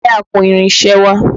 Gbé àpò irinṣẹ́ wá!